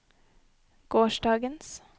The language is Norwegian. gårsdagens